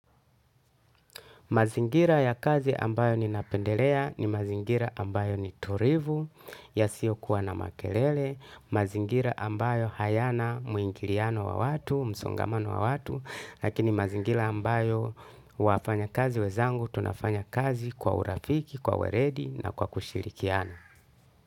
Mazingira ya kazi ambayo ni napendelea ni mazingira ambayo ni turivu yasiyo kuwa na makelele, mazingira ambayo hayana muingiriano wa watu, msongamano wa watu, lakini mazingira ambayo, wafanya kazi wezangu tunafanya kazi kwa urafiki, kwa uredi na kwa kushirikiana.